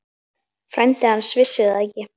Frændi hans vissi það ekki.